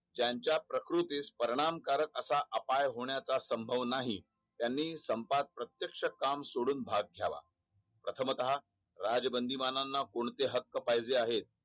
ज्याच्या प्रकृतीस परिणाम कारक असा अपाय होण्याचा संभव नाही त्यानी संपात प्रत्यक्ष काम सोडून भाग झाला प्रथमत राजबंदीबानाना कोणते हक्क पाहिजे आहेत